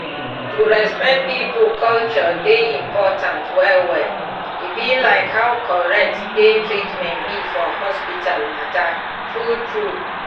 uhm to respect people culture dey important well well e be like how correct dey treatment be for hospital matter true true.